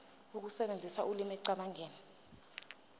ukusebenzisa ulimi ekucabangeni